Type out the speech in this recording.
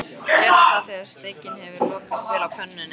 Gerðu það þegar steikin hefur lokast vel á pönnunni.